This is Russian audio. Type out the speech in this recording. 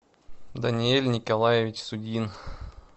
даниэль николаевич судин